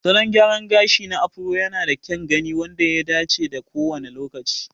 Salon gyraran gashi na Afro yanada kyan gani wanda ya dace da kowane lokaci.